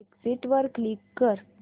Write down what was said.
exit वर click कर